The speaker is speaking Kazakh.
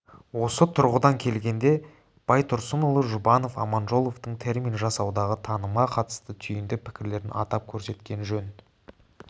осы тұрғыдан келгенде байтұрсынұлы жұбанов аманжоловтың термин жасаудағы танымға қатысты түйінді пікірлерін атап көрсеткен жөн